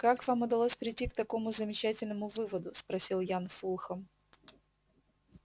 как вам удалось прийти к такому замечательному выводу спросил ян фулхам